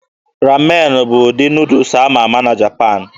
Ramen bụ ụdị Nuudus ama ama na Japan